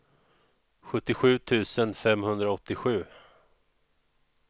sjuttiosju tusen femhundraåttiosju